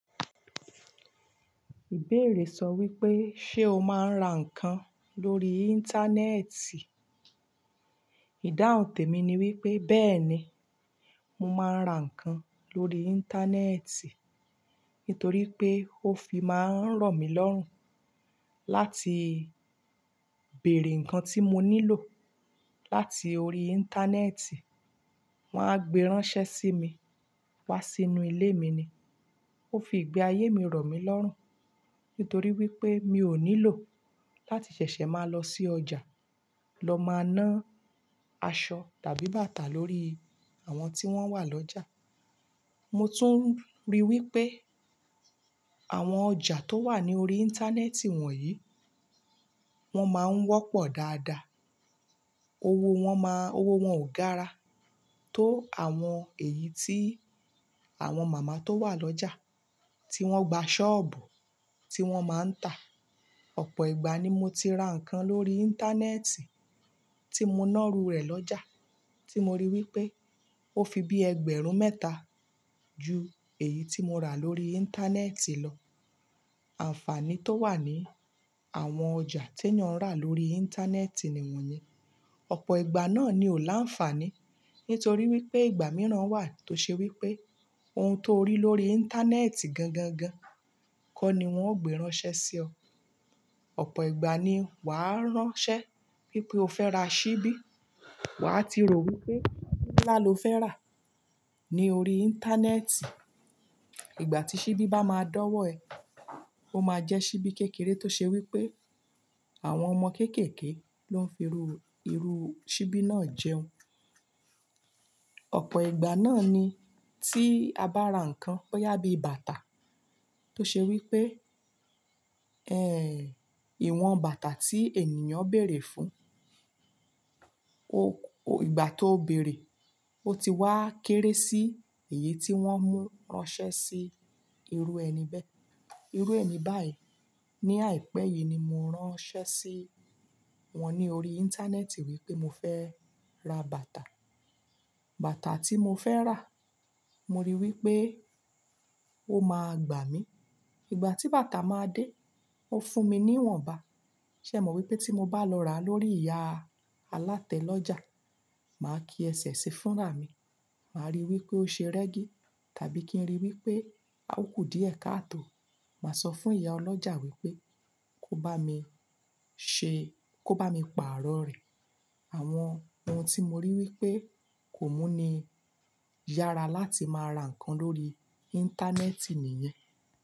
Ìbéèrè sọ wípé, ṣé o máa ń ra ǹkan lórí íńtánẹ́ẹ̀tì? Ìdáhùn tèmi ni wípé, bẹ́ẹ̀ni, mo máa ń ra ǹkan lórí íńtánẹ́ẹ̀tì nítorí pé ó fi máa ń rọ̀ mí lọ́rùn láti bèèrè ǹkan tí mo nílò láti orí íńtánẹ́ẹ̀tì. Wọn a gbé ránṣẹ́ sí mi wá sínú ilé mi ni. Ó fi gbé ayé mi rọ̀ mí lọ́rùn, nítorí wípé mi ò nílò láti ṣẹ̀ṣẹ̀ máa lọ sí ọjà lọ máa ná àṣọ tàbí bàtà lórí àwọn tí wọ́n wà lọ́jà. Mo tún rí wípé àwọn ọjà tó wà ní orí íńtánẹ́ẹ̀tì wọ̀nyí, wọ́n máa ń wọ́pọ̀ dáadáa. Owó wọn máa, owó wọn ò gara tó àwọn èyí tí àwọn màmá tó wà lọ́jà tí wọ́n gba ṣọ́ọ̀bù, tí wọ́n máa ń tà. Ọ̀pọ̀ ìgbà ni mo ti ra ǹkan lórí íńtánẹ́ẹ̀tì tí mo na rú rẹ̀ lọ́jà tí mo rí wípé ó fi bí ẹgbẹ̀rún mẹ́ta ju èyí tí mo rà lórí íńtánẹ́ẹ̀tì lọ. Àǹfààní tó wà ní àwọn ọjà tí ènìyàn rà lórí íńtánẹ́ẹ̀tì ni wọ̀nye. Ọ̀pọ̀ ìgbà náà ni ò láǹfààní nítorí wípé ìgbà mìíràn wà tó ṣe wípé ohun tó rí lórí íńtánẹ́ẹ̀tì gan gan gan kọ́ ni wọ́n ó gbé ránṣẹ́ sí ọ. Ọ̀pọ̀ ìgbà ni wàá ránṣẹ́ wípé o fẹ́ ra ṣíbí, wàá ti rò wípé bílá ló fẹ́ rà ní orí íńtánẹ́ẹ̀tì. Ìgbà tí ṣíbí bá máa dọ́wọ́ ẹ, ó máa jẹ ṣíbí kékeré tó ṣe wípé àwọn ọmọ kéékèèké ló ń fi irú, irú ṣíbí náà jẹun. Ọ̀pọ̀ ìgbà náà ni tí a bá ra ǹkan, bóyá bí bàtà tó ṣe wípé, ẹ́ ìwọ̀n bàtà tí ènìyàn béèrè fún o, ìgbà tó béèrè, ó ti wá kéré sí èyí tí wọ́n mú ránṣẹ́ sí irú ẹni bẹ́. Irú èmi báyìí ní àìpẹ́ yìí ni mo ránṣẹ́ sí wọn ní orí íńtánẹ́ẹ̀tì wípé mo fẹ́ ra bàtà. Bàtà tí mo fẹ́ rà mo rí wípé ó máa gbà mí. Ìgbà tí bàtà máa dé ó fún mi ní ìwọ̀nba. Ṣé ẹ mọ̀ wípé tí mo bá lọ rà lórí ìyá alátẹ lọ́jà, màá kí ẹsẹ̀ sífúnra mi, màá ríi wípé ó ṣe rẹ́gí tàbí kí n ríi wípé a o kù díẹ̀ káàtò. Màá sọ fún ìyá ọlọ́jà wípé kó bá mi ṣe, kó bá mi pa àárọ̀ rẹ̀. Àwọn ohun tí mo rí wípé kò mú ní yára láti máa ra ǹkan lórí íńtánẹ́ẹ̀tì nìyẹn.